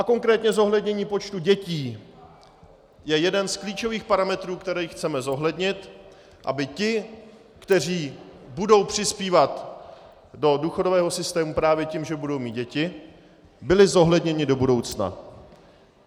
A konkrétně zohlednění počtu dětí je jeden z klíčových parametrů, které chceme zohlednit, aby ti, kteří budou přispívat do důchodového systému právě tím, že budou mít děti, byli zohledněni do budoucna.